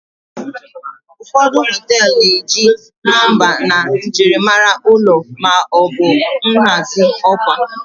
ụfọdụ họtelu na-eji nọmba na njirimara ụlọ ma ọ bụ nhazi ọkwa